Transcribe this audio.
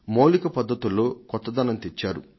మౌలిక పద్ధతుల్లో కొత్తదనం తెచ్చారు